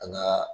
An ka